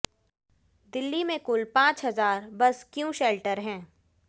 दिल्ली में कुल पांच हजार बस क्यू शेल्टर हैं